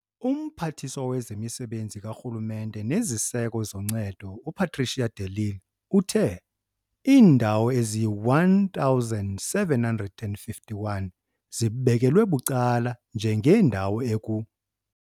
UMphathiswa wezeMisebenzi kaRhulumente neziSeko zoNcedo uPatricia de Lille uthe- Iindawo ezili-1 751 zibekelwe bucala njengeendawo eku